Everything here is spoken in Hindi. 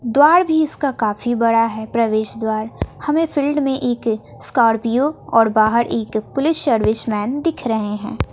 द्वार भी इसका काफी बड़ा है प्रवेश द्वार हमें फील्ड में एक स्कॉर्पियो और बाहर एक पुलिस सर्विस मैन दिख रहे हैं।